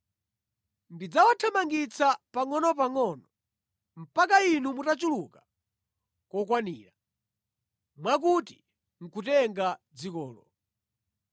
Ndidzawathamangitsa pangʼonopangʼono mpaka inu mutachuluka kokwanira mwakuti nʼkutenga dzikolo.